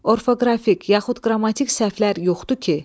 Orfoqrafik yaxud qrammatik səhvlər yoxdur ki?